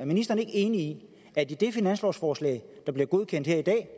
er ministeren ikke enig i at i det finanslovsforslag der bliver godkendt her i dag